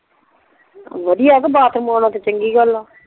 ਵਧੀਆ ਆ ਤੇ ਬਾਥਰੂਮ ਓਨਾ ਤੇ ਚੰਗੀ ਗੱਲ ਆ